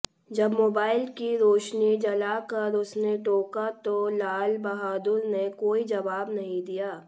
जब मोबाइल की रोशनी जलाकर उसने टोका तो लालबहादुर ने कोई जवाब नहीं दिया